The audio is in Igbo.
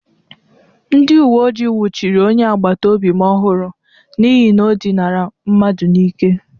Ndị uwe ojii nwuchiri onye agbataobi m ọhụrụ n'ihi na o dịnara mmadụ n'ike.